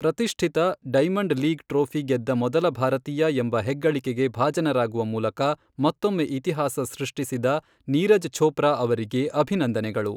ಪ್ರತಿಷ್ಠಿತ diamond league trophy ಗೆದ್ದ ಮೊದಲ ಭಾರತೀಯ ಎಂಬ ಹೆಗ್ಗಳಿಕೆಗೆ ಭಾಜನರಾಗುವ ಮೂಲಕ ಮತ್ತೊಮ್ಮೆ ಇತಿಹಾಸ ಸೃಷ್ಟಿಸಿದ ನೀರಜ್ ಛೋಪ್ರಾ ಅವರಿಗೆ ಅಭಿನಂದನೆಗಳು.